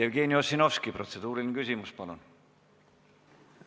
Jevgeni Ossinovski, protseduuriline küsimus, palun!